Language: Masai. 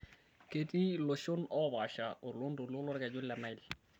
Keetii looshon oopaasha oloontoluo lolkeju le Nile